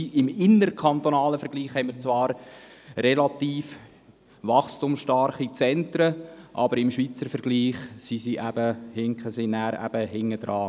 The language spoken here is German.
Im innerkantonalen Vergleich haben wir zwar relativ wachstumsstarke Zentren, aber im gesamtschweizerischen Vergleich hinken diese hinterher.